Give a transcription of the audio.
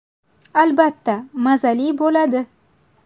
Albatta, mazali bo‘ladi.